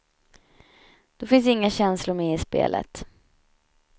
Då finns inga känslor med i spelet.